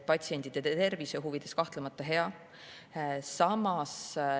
Patsientide tervise huvides on see kahtlemata hea.